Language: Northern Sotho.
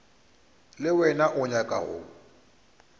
le wena o nyaka go